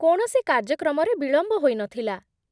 କୌଣସି କାର୍ଯ୍ୟକ୍ରମରେ ବିଳମ୍ବ ହୋଇନଥିଲା